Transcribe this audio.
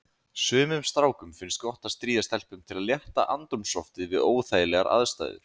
Sumum strákum finnst gott að stríða stelpum til að létta andrúmsloftið við óþægilegar aðstæður.